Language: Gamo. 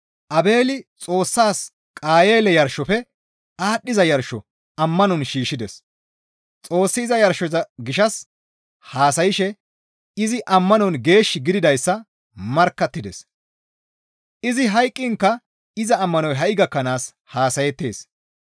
Aabeeli Xoossas Qayeele yarshofe aadhdhiza yarsho ammanon shiishshides; Xoossi iza yarshoza gishshas haasayshe izi ammanon geesh gididayssa markkattides; izi hayqqiinka iza ammanoy ha7i gakkanaas haasayettees.